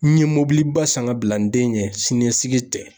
N ye mobiliba san ka bila n den ɲɛ, siniɲɛsigi tɛ.